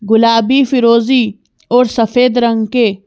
गुलाबी फिरोजी और सफेद रंग के--